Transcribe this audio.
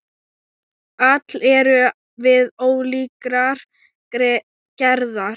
Öll erum við ólíkrar gerðar.